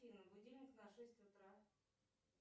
афина будильник на шесть утра